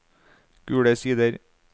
Gule Sider